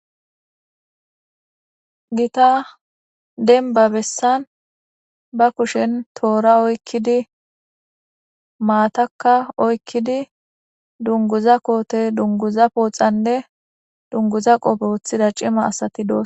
Gita denba bessan ba kushen toora oykkidi maataka oykkidi dunguza kootey dunguza pooxanne dunguza qoppe wothida cima asati dos